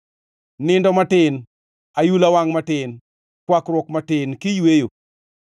Nindo matin, ayula wangʼ matin, kwakruok matin kiyweyo,